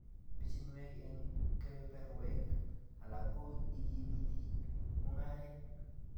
Bichiinwek eng kebeberwek alak ko ikimiiti mungaret